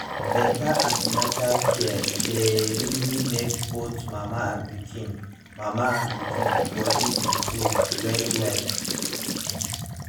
better an ten atal care dey really make both mama and pikin mama and pikin body improve well well